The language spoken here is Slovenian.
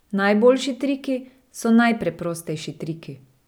Najboljši triki so najpreprostejši triki.